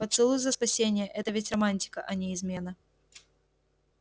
поцелуй за спасение это ведь романтика а не измена